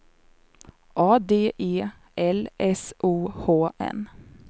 A D E L S O H N